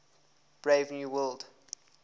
brave new world